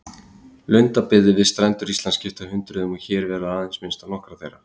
Lundabyggðir við strendur Íslands skipta hundruðum og hér verður aðeins minnst á nokkrar þeirra.